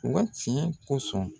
U ka tiɲɛ kosɔn.